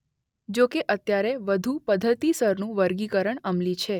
જો કે અત્યારે વધુ પદ્ધતિસરનું વર્ગીકરણ અમલી છે.